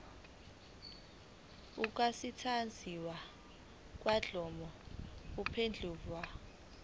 ukusetshenziswa kwenkulumo mpendulwano